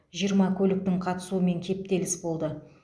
жиырма көліктің қатысуымен кептеліс болды